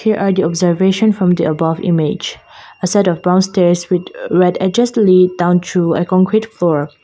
here are the observation from the above image a set of brown stairs with righteously down to a concrete floor.